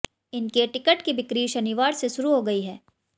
इनके टिकट की ब्रिकी शनिवार से शुरू हो गई है